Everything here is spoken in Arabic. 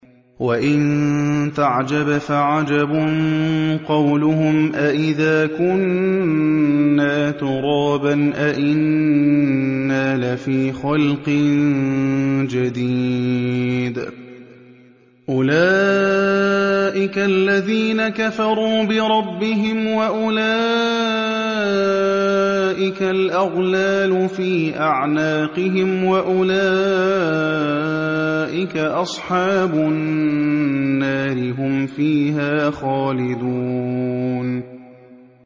۞ وَإِن تَعْجَبْ فَعَجَبٌ قَوْلُهُمْ أَإِذَا كُنَّا تُرَابًا أَإِنَّا لَفِي خَلْقٍ جَدِيدٍ ۗ أُولَٰئِكَ الَّذِينَ كَفَرُوا بِرَبِّهِمْ ۖ وَأُولَٰئِكَ الْأَغْلَالُ فِي أَعْنَاقِهِمْ ۖ وَأُولَٰئِكَ أَصْحَابُ النَّارِ ۖ هُمْ فِيهَا خَالِدُونَ